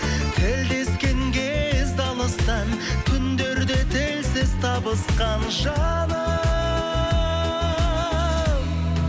тілдескен кезде алыстан түндерде тілсіз табысқан жаным